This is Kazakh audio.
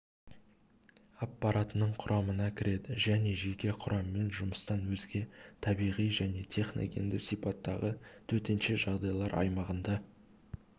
аппаратының құрамына кіреді және жеке құраммен жұмыстан өзге табиғи және техногенды сипаттағы төтенше жағдайлар аймағында